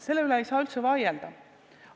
Selle üle ei saa üldse vaielda.